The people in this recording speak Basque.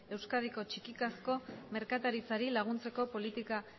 euskadiko txikizkako merkataritzari laguntzeko politikak